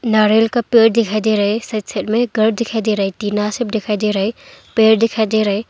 नारियल का पेड़ दिखाई दे रहा है साइड साइड में घर दिखाई दे रहा है टीना शेड दिखाई दे रहा है पेड़ दिखाई दे रहा है।